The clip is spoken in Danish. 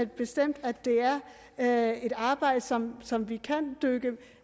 bestemt at det er et arbejde som som vi kan dykke